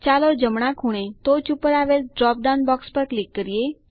ચાલો જમણા ખૂણે ટોચ ઉપર આવેલ ડ્રોપ ડાઉન પર ક્લિક કરો